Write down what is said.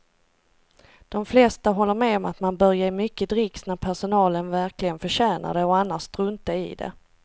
De flesta håller med om att man bör ge mycket dricks när personalen verkligen förtjänar det och annars strunta i det.